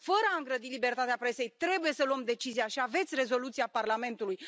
Fără a îngrădi libertatea presei, trebuie să luăm decizia și aveți rezoluția Parlamentului.